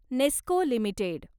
Nesco limited